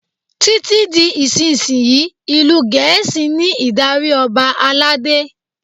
Títí di ìsinsìnyí, ìlú Gẹ̀ẹ́sì ní ìdarí Ọba aládé.